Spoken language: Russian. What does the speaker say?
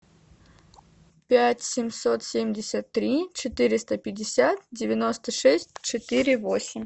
пять семьсот семьдесят три четыреста пятьдесят девяносто шесть четыре восемь